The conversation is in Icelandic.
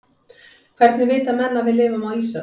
hvernig vita menn að við lifum á ísöld